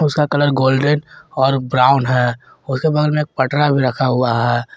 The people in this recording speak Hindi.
उसका कलर गोल्डन और ब्राउन है उसके बगल में एक पटरा भी रखा हुआ है।